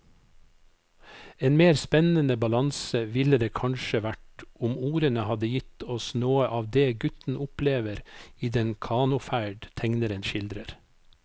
En mer spennende balanse ville det kanskje vært om ordene hadde gitt oss noe av det gutten opplever i den kanoferd tegneren skildrer.